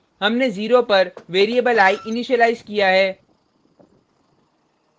हमने 0पर variable i initialize किया है